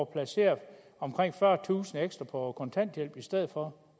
placeret omkring fyrretusind ekstra på kontanthjælp i stedet for